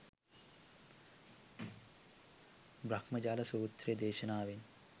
බ්‍රහ්මජාල සූත්‍ර දේශනාවෙන්